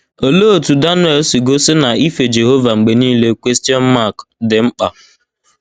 Olee otú Daniel si gosi na ife Jehova mgbe niile dị mkpa?